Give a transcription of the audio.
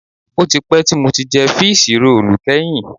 Ó ti pẹ́ tí mo ti jẹ fííṣí roòlù kẹ́yìn